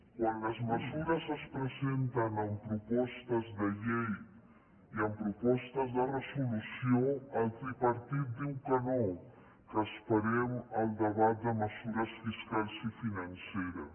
quan les mesures es presenten amb propostes de llei i amb propostes de resolució el tripartit diu que no que esperem al debat de mesures fiscals i financeres